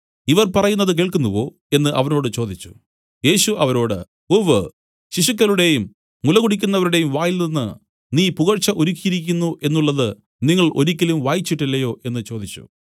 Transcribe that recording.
ഇവർ പറയുന്നത് കേൾക്കുന്നുവോ എന്നു അവനോട് ചോദിച്ചു യേശു അവരോട് ഉവ്വ് ശിശുക്കളുടെയും മുലകുടിക്കുന്നവരുടെയും വായിൽനിന്നു നീ പുകഴ്ച ഒരുക്കിയിരിക്കുന്നു എന്നുള്ളത് നിങ്ങൾ ഒരിക്കലും വായിച്ചിട്ടില്ലയോ എന്നു ചോദിച്ചു